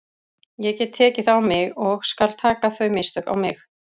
Ég get tekið það á mig og skal taka þau mistök á mig.